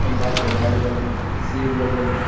खम्बा केला लगल हे सेब लगल हे।